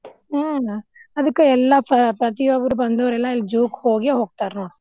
ಹಾ ಅದಕ್ಕ್ ಎಲ್ಲಾ ಪ್ರತಿಯೊಬ್ಬರ ಬಂದವ್ರೆಲ್ಲಾ ಇಲ್ಲೆ zoo ಹೋಗಿ ಹೋಗ್ತಾರ ನೋಡ್.